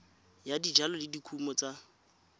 ya dijalo le dikumo tsa